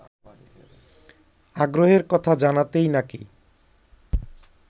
আগ্রহের কথা জানাতেই নাকি